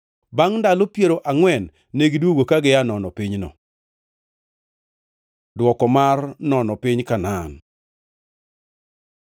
Bangʼ ndalo piero angʼwen negidwogo ka gia nono pinyno. Dwoko mar nono piny Kanaan